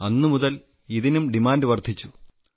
അന്നുമുതൽ ഇതിനും ഡിമാൻഡ് വർധിച്ചു